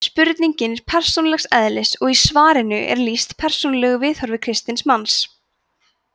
spurningin er persónulegs eðlis og í svarinu er lýst persónulegu viðhorfi kristins manns